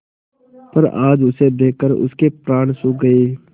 पर आज उसे देखकर उनके प्राण सूख गये